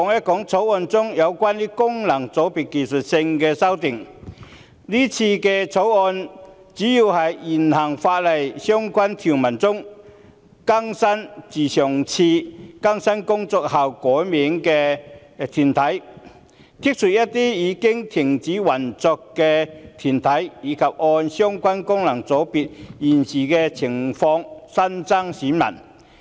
今次《條例草案》建議的主要修訂，包括在現行法例的相關條文中，更新自上次更新工作後改名的團體；刪除一些已停止運作的團體；以及按相關功能界別現時的情況新增選民。